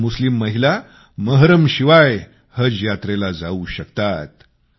आज मुस्लिम महिला महरमशिवाय हज यात्रेला जाऊ शकतात